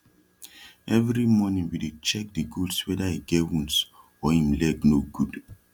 everi mornin we dey check de goats weda e get wounds or em leg no gud